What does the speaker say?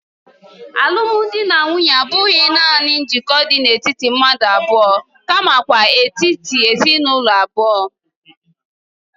Alụmdi na nwunye abụghị nanị njikọ dị n'etiti mmadụ abụọ kamakwa n'etiti ezinụlọ abụọ.